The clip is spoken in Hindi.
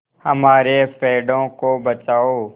हमारे पेड़ों को बचाओ